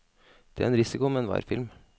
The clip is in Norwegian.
Det er en risiko med enhver film.